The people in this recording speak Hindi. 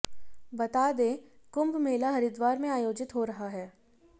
बता दें कुंभ मेला हरिद्वार में आयोजित हो रहा है